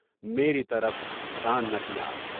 میرے طرف دھیان نہ کیا۔